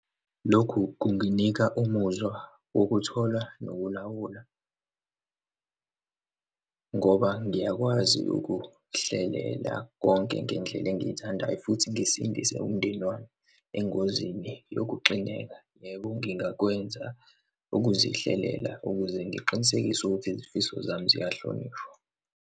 Lokhu kunginika umuzwa wokuthola nokulawula ngoba ngiyakwazi ukuhlelela konke ngendlela engiyithandayo, futhi ngisindise umndeni wami engozini yokuxineka. Yebo, ngingakwenza ukuzihlela, ukuze ngiqinisekise ukuthi izifiso zami ziyahlonishwa.